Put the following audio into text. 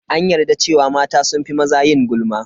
An yarda cewa mata sun fi maza yin gulma.